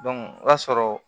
o b'a sɔrɔ